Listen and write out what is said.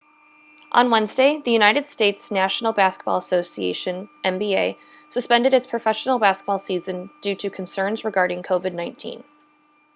on wednesday the united states' national basketball association nba suspended its professional basketball season due to concerns regarding covid-19